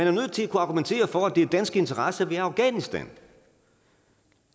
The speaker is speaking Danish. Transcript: er nødt til at kunne argumentere for at det er danske interesser vi i afghanistan